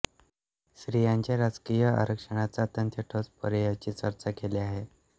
स्त्रियांच्या राजकीय आरक्षणाच्या अत्यंत ठोस पर्यायांची चर्चा केली आहे